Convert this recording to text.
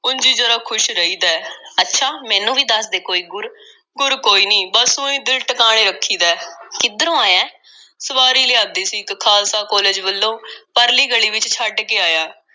ਉਂਝ ਈ ਜ਼ਰਾ ਖ਼ੁਸ਼ ਰਹੀਦਾ ਐ। ਅੱਛਾ—ਮੈਨੂੰ ਵੀ ਦੱਸ ਦੇ ਕੋਈ ਗੁਰ, ਗੁਰ ਕੋਈ ਨਹੀਂ, ਬੱਸ ਊਂ ਈ ਦਿਲ ਟਕਾਣੇ ਰੱਖੀਦਾ ਐ। ਕਿੱਧਰੋਂ ਆਇਐਂ? ਸਵਾਰੀ ਲਿਆਂਦੀ ਸੀ ਇੱਕ ਖ਼ਾਲਸਾ ਕਾਲਜ ਵੱਲੋਂ, ਪਰਲੀ ਗਲੀ ਵਿੱਚ ਛੱਡ ਕੇ ਆਇਆਂ।